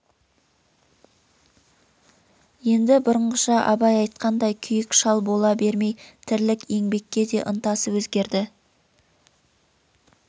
енді бұрынғыша абай айтқандай күйік шал бола бермей тірлік еңбекке де ынтасы өзгерді